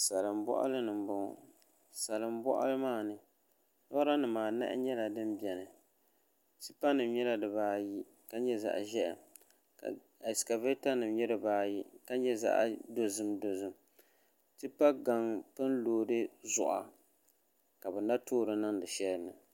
Salin boɣali ni n boŋo salin boɣali maa ni lora nim anahi nyɛla din biɛni tipa nim nyɛla dibaayi ka nyɛ zaɣ ʒiɛhi ka ɛskavɛta nim nyɛ dibaayi ka nyɛ zaɣ dozim dozim tipa gaŋ pun loodi ziɣa ka bi na toori niŋdi shɛli ni